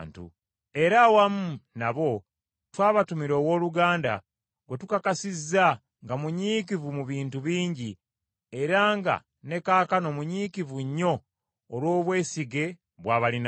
Era awamu nabo twabatumira owooluganda gwe tukakasizza nga munyiikivu mu bintu bingi era nga ne kaakano munyiikivu nnyo olw’obwesige bw’abalinamu.